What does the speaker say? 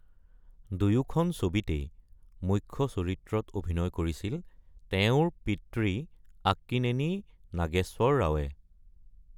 দুয়োখন ছবিতেই মুখ্য চৰিত্ৰত অভিনয় কৰিছিল তেওঁৰ পিতৃ আক্কিনেনি নাগেশ্বৰ ৰাও।